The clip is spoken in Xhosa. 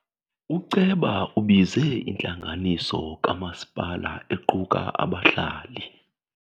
Uceba ubize intlanganiso kamasipala equka abahlali.